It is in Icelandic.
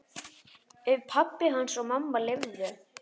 Ef pabbi hans og mamma leyfðu.